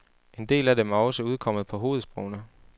En del af dem er også udkommet på hovedsprogene.